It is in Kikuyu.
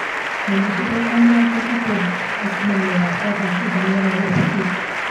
menyithia ndagĩka mĩrongo ĩtatũ mbere ya mũcemanio wakwa thaa kenda mĩaraho rũciũ